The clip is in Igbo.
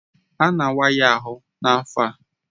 A na-awa ya ahụ n'afọ